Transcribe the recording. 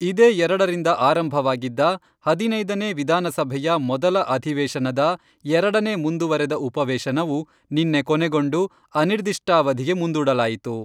ಇದೇ ಎರಡರಿಂದ ಆರಂಭವಾಗಿದ್ದ ಹದಿನೈದನೇ ವಿಧಾನಸಭೆಯ ಮೊದಲ ಅಧಿವೇಶನದ ಎರಡನೇ ಮುಂದುವರೆದ ಉಪವೇಶನವು, ನಿನ್ನೆ ಕೊನೆಗೊಂಡು ಅನಿರ್ದಿಷ್ಟಾವಧಿಗೆ ಮುಂದೂಡಲಾಯಿತು.